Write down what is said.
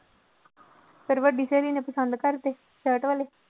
ਫਿਰ ਵੱਡੀ ਸਹੇਲੀ ਨੇ ਪਸੰਦ ਕਰਤੇ ਸਰਟ ਵਾਲੇ।